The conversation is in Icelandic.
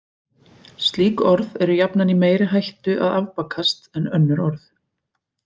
Slík orð eru jafnan í meiri hættu að afbakast en önnur orð.